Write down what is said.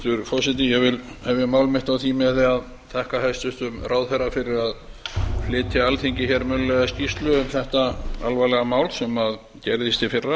forseti ég vil hefja mál mitt með því að þakka hæstvirtum ráðherra fyrir að flytja alþingi munnlega skýrslu um þetta alvarlega mál sem gerðist í fyrra